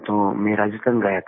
तो मैं राजस्थान गया था